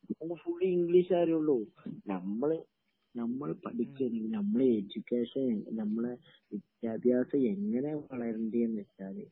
ഇപ്പൊ എന്താ ഫുള്ളി ഇംഗ്ളീഷേ അറിയുള്ളൂ...നമ്മൾ...നമ്മൾ പഠിച്ചത്...നമ്മടെ എഡ്യൂക്കേഷൻ നമ്മടെ വിദ്യാഭ്യാസം എങ്ങനെയാ വളരേണ്ട എന്നുവച്ചാല്...